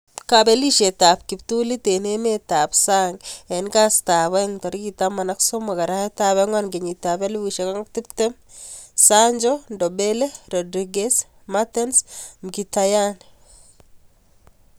Kabelisiet ab kiptulit eng' emet ab sang eng kastab aenge 13.04.2020:Sancho, Ndombele, Rodriguez, Mertens, Mkhitaryan.